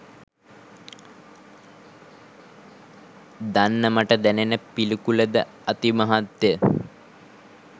දන්න මට දැනෙන පිළිකුලද අතිමහත්ය.